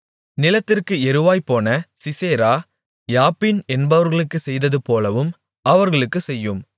நிலத்திற்கு எருவாய்ப்போன Sisera Jabin என்பவர்களுக்குச் செய்ததுபோலவும் அவர்களுக்குச் செய்யும்